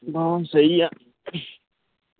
ਬਸ ਸਹੀ ਆ